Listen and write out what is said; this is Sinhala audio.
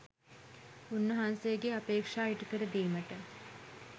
උන්වහන්සේගේ අපේක්ෂා ඉටුකර දීමට